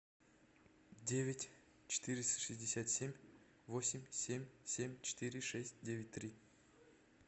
девять четыреста шестьдесят семь восемь семь семь четыре шесть девять три